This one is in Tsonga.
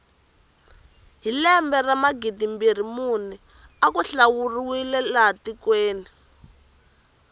hi lembe ra magidimbirhi mune aku hlawuriwa laha tikweni